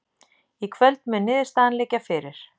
Í kvöld mun niðurstaðan liggja fyrir